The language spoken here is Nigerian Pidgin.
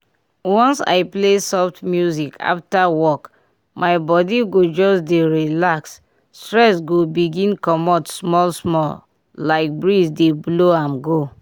once i play soft music after work my body go just dey relax stress go begin comot small small like breeze dey blow am go.